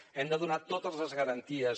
hem de donar totes les garanties